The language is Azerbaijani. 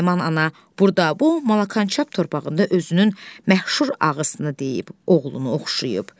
Nərman ana burda, bu Malakançap torpağında özünün məhşur ağısını deyib, oğlunu oxşayıb.